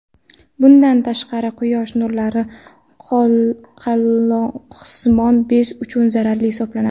Bundan tashqari quyosh nurlari qalqonsimon bez uchun zararli hisoblanadi.